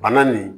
Bana nin